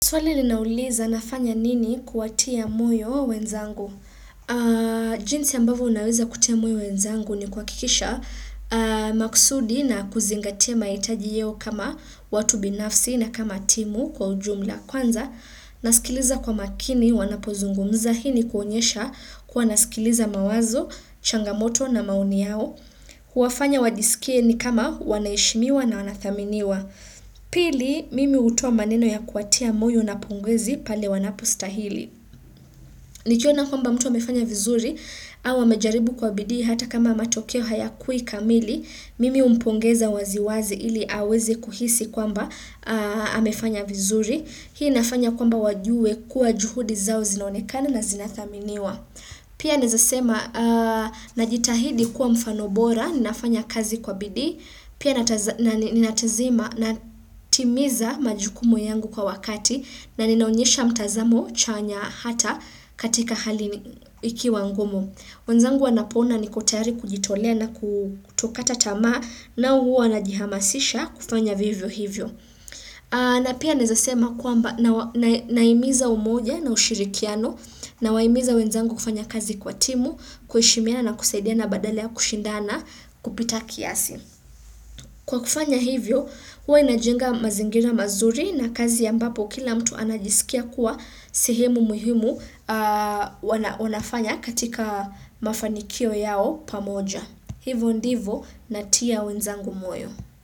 Swali linauliza nafanya nini kuwatia moyo wenzangu? Jinsi ambavyo naweza kutia moyo wenzangu ni kuhakikisha makusudi na kuzingatia mahitaji yao kama watu binafsi na kama timu kwa ujumla kwanza nasikiliza kwa makini wanapozungumza hii ni kuonyesha kuwa nasikiliza mawazo, changamoto na maoni yao huwafanya wajisikie ni kama wanaheshimiwa na wanathaminiwa Pili mimi hutoa maneno ya kuwatia moyo na pongezi pale wanapostahili Nikiona kwamba mtu amefanya vizuri au amejaribu kwa bidii hata kama matokeo hayakuwi kamili Mimi humpongeza waziwazi ili aweze kuhisi kwamba amefanya vizuri Hii nafanya kwamba wajue kuwa juhudi zao zinaonekana na zinathaminiwa Pia naeza sema najitahidi kuwa mfano bora nafanya kazi kwa bidii Pia ninatizima natimiza majukumu yangu kwa wakati na ninaonyesha mtazamo chanya hata katika hali ikiwa ngumu. Wenzangu wanapoona niko tayari kujitolea na kutokata tama nao huwa wanajihamasisha kufanya vivyo hivyo. Na pia naeza sema kwamba nahimiza umoja na ushirikiano nawaimiza wenzangu kufanya kazi kwa timu, kuheshimiana na kusaidiana badala kushindana kupita kiasi. Kwa kufanya hivyo, huwa najenga mazingira mazuri na kazi ambapo kila mtu anajisikia kuwa sehemu muhimu wanafanya katika mafanikio yao pamoja. Hivyo ndivyo natia wenzangu moyo.